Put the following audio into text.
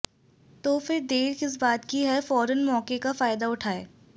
तो फिर देर किस बात की है फौरन मौके का फायदा उठाएं